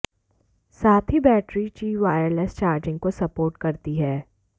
साथ ही बैटरी ची वायरलेस चार्जिंग को सपोर्ट करती है